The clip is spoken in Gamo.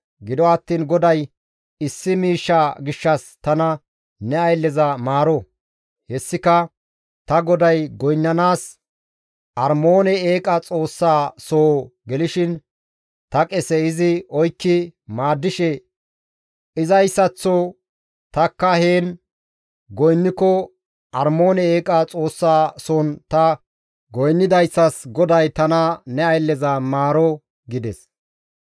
Gido attiin GODAY issi miishsha gishshas tana ne aylleza maaro; hessika ta goday goynnanaas Armoone eeqa xoossaa soo gelishin ta qese izi oykki maaddishe izayssaththo tanikka heen goynniko Armoone eeqa xoossa soon ta goynnidayssas GODAY tana ne aylleza maaro» gides.